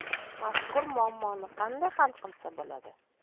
Mazkur muammoni qanday hal qilsa bo‘ladi?